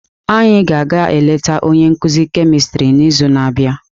Anyị ga-aga eleta onye nkuzi kemistri n'izu na-abịa.